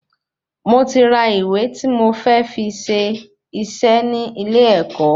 Mo ti ra ìwé ti mo fẹ fí ṣé isé ni ile ẹkọ